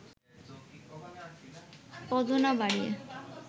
পদ না বাড়িয়ে